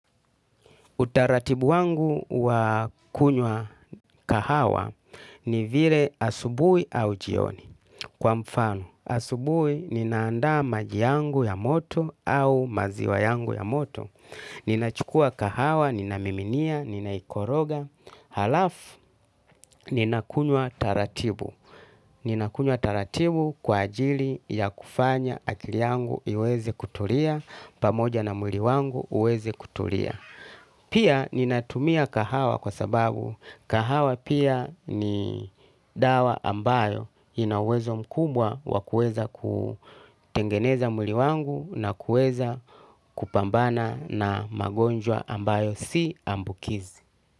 Utaratibu wangu wa kunywa kahawa ni vile asubui au jioni. Kwa mfano, asubui ninaanda maji yangu ya moto au maziwa yangu ya moto. Ninachukua kahawa, ninamiminia, ninaikoroga. Halafu, ninakunywa taratibu. Ninakunywa taratibu kwa ajili ya kufanya akili yangu iweze kutulia, pamoja na mwili wangu uweze kutulia. Pia ninatumia kahawa kwa sababu kahawa pia ni dawa ambayo inauwezo mkumbwa wakuweza kuutengeneza mwili wangu na kueza kupambana na magonjwa ambayo si ambukizi.